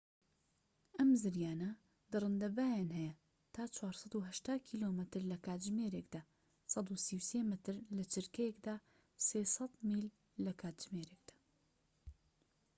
ئەم زریانە دڕندنە بایان هەیە تا 480 کم لە کاتژمێر 133 مەتر/چرکە؛ 300میل/کاتژمێر